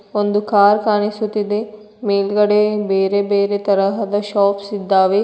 ಒಂದು ಕಾರ್ ಕಾಣಿಸುತ್ತಿದೆ ಮೇಲ್ಗಡೆ ಬೇರೆ ಬೇರೆ ತರಹದ ಶಾಪ್ಸ್ ಇದ್ದಾವೆ.